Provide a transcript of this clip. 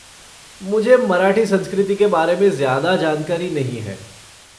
मुझे मराठी संस्कृति के बारे ज़्यादा जानकारी नहीं है।